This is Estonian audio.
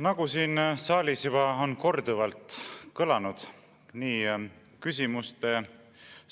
Nagu siin saalis on küsimuste